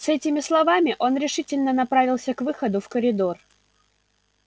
с этими словами он решительно направился к выходу в коридор